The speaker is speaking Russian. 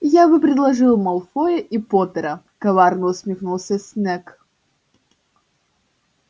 я бы предложил малфоя и поттера коварно усмехнулся снегг